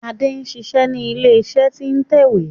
Adé n ṣiṣé ni ilé iṣé tí n tẹ ìwé.